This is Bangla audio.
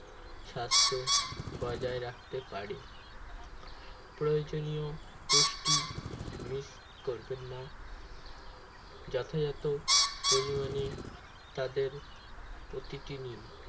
স্বাস্থ্য বজায় রাখতে পারে প্রয়োজনীয় পুষ্টি miss করবেন না যথাযথ পরিমাণে তাদের প্রতিদিনই